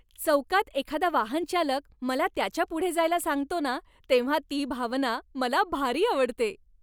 चौकात एखादा वाहनचालक मला त्याच्या पुढे जायला सांगतो ना, तेव्हा ती भावना मला भारी आवडते.